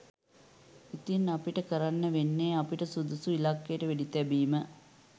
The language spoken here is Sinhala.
ඉතිං අපිට කරන්න වෙන්නෙ අපිට සුදුසු ඉලක්කයට වෙඩිතැබීම